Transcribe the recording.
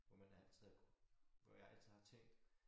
Hvor man altid har hvor jeg altid har tænkt